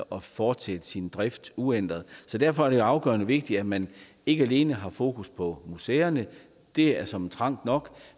og fortsætte sin drift uændret så derfor er det jo afgørende vigtigt at man ikke alene har fokus på museerne det er såmænd trangt nok